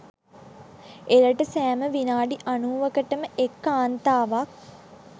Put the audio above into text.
එරට සෑම විනාඩි අනූවකටම එක් කාන්තාවක්